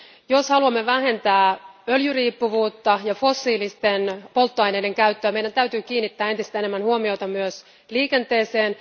Jos haluamme vähentää öljyriippuvuutta ja fossiilisten polttoaineiden käyttöä, meidän täytyy kiinnittää entistä enemmän huomiota myös liikenteeseen.